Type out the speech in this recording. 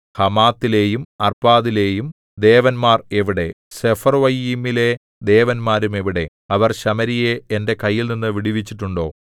ഹമാത്തിലെയും അർപ്പാദിലെയും ദേവന്മാർ എവിടെ സെഫർവ്വയീമിലെ ദേവന്മാരും എവിടെ അവർ ശമര്യയെ എന്റെ കൈയിൽനിന്നു വിടുവിച്ചിട്ടുണ്ടോ